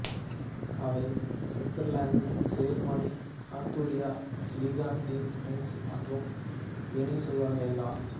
அவை Switzerland Germany Austria Liechtenstein France மற்றும் Venezuela